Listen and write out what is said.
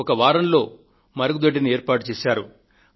ఒక్క వారం రోజులలో మరుగుదొడ్డిని ఏర్పాటుచేశారు